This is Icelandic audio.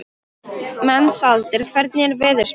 Mensalder, hvernig er veðurspáin?